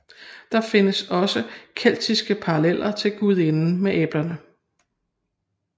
Der findes også keltiske paralleller til gudinden med æblerne